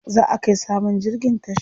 Za'a kai sabon jirgin tasha.